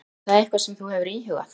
Er það eitthvað sem þú hefur íhugað?